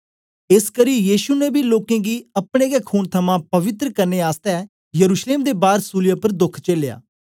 एसकरी यीशु ने बी लोकें गी अपने गै खून थमां पवित्र करने आसतै यरुश्लेम दे बार सूलीयै उपर दोख चेलया